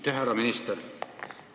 Aitäh, härra minister!